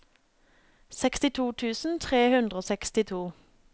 sekstito tusen tre hundre og sekstito